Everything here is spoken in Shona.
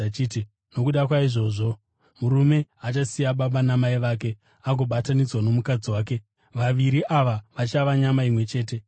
akati, ‘Nokuda kwaizvozvo murume achasiya baba namai vake agobatanidzwa nomukadzi wake, vaviri ava vachava nyama imwe chete?’